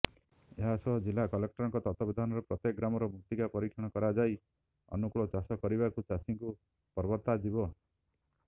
ଏହାସହ ଜିଲ୍ଲା କଲେକ୍ଟରଙ୍କ ତତ୍ତ୍ୱାବଧାନରେ ପ୍ରତ୍ୟେକ ଗ୍ରାମର ମୃତ୍ତିକା ପରୀକ୍ଷଣ କରାଯାଇ ଅନୁକୂଳ ଚାଷ କରିବାକୁ ଚାଷୀଙ୍କୁ ପ୍ରବର୍ତ୍ତାଯିବ